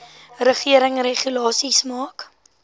regering regulasies maak